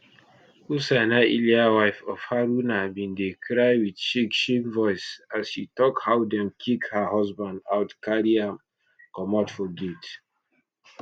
hussaina iliya wife of haruna bin dey cry wit shake shake voice as she tok how dem kick her husband out carry am comot for gate